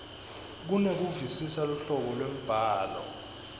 kunekuvisisa luhlobo lwembhalo